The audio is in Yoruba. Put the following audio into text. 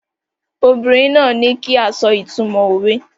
The woman asked us to say the meaning of the proverb